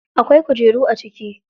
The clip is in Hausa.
Akwai kujeru a ciki.